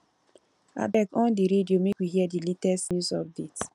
abeg on di radio make we hear di latest news update